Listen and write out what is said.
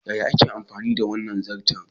Yaya ake amfani da wannan zarton?